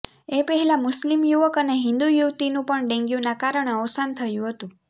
એ પહેલા મુસ્લિમ યુવક અને હિન્દુ યુવતીનું પણ ડેન્ગ્યુના કારણે અવસાન થયું હતુ